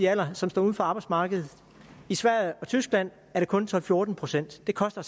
alder som står uden for arbejdsmarkedet i sverige og tyskland er det kun tolv til fjorten procent det koster